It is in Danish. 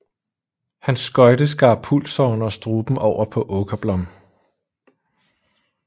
Hans skøjte skar pulsåren og struben over på Åkerblom